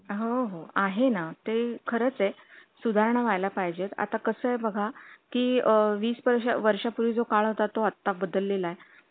जर आपण भारतीय निवडणूकीच्या परिस्थितीवर नजर टाकली तर, पुरेशी शक्ती आणि पैसा असलेली कोणतीही व्यक्ती निवडणूक लढवू शकते,